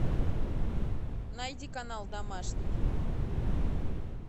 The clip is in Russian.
найди канал домашний